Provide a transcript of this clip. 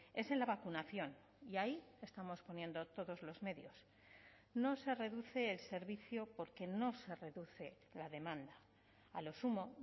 es en la vacunación y ahí estamos poniendo todos los medios no se reduce el servicio porque no se reduce la demanda a lo sumo